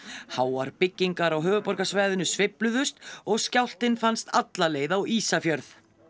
háar byggingar á höfuðborgarsvæðinu sveifluðust og skjálftinn fannst alla leið á Ísafjörð